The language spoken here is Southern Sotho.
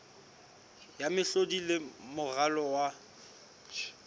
ya mehlodi le moralo wa